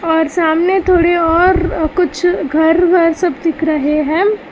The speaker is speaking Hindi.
और सामने थोडे और कुछ घर वर सब दिख रहे हैं।